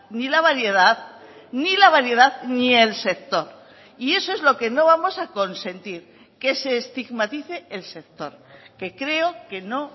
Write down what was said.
ni la variedad ni la variedad ni el sector y eso es lo que no vamos a consentir que se estigmatice el sector que creo que no